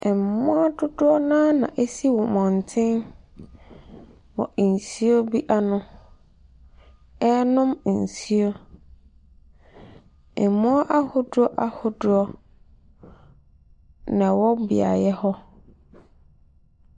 Mmoa dodoɔ naa na ɛsi abɔnten wɔ nsuo bi ano ɛrenom nsuo. Mmoa ahodoɔ ahodoɔ nɛwɔ beaeɛ hɔ.